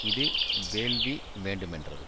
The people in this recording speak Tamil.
இது வேள்வி வேண்டுமென்றது